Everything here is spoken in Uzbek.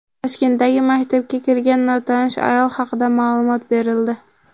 Toshkentdagi maktabga kirgan notanish ayol haqida ma’lumot berildi.